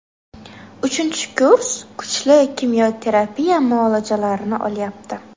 Uchinchi kurs kuchli kimyo terapiya muolajalarini olyapti.